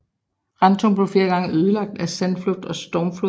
Rantum blev flere gange ødelagt af sandflugt og stormfloder